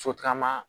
Sotarama